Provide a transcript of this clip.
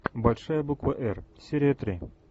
большая буква р серия три